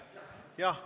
Jah, palun!